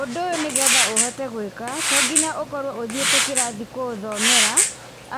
Ũndũ ũyũ nĩ getha ũhote gwĩka, to nginya ũkorwo ũthiĩte kĩrathi kũũthomera.